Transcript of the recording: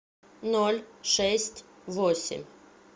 ноль шесть восемь